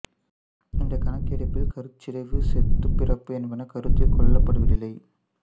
இந்தக் கணக்கெடுப்பில் கருச்சிதைவு செத்துப் பிறப்பு என்பன கருத்தில் கொள்ளப்படுவதில்லை